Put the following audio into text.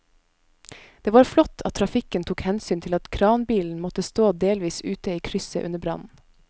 Det var flott at trafikken tok hensyn til at kranbilen måtte stå delvis ute i krysset under brannen.